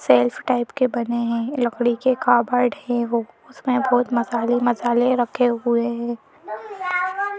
Self type के बने हैं लकड़ी के काबड़ है वो उसमें बहुत मसाले मसाले रखे हुए है।